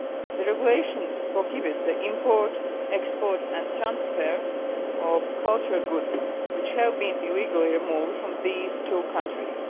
The regulations prohibit the import, export and transfer of cultural goods which have been illegally removed from these two countries.